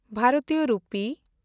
ᱵᱷᱟᱨᱚᱛᱤᱭᱚ ᱨᱩᱯᱤ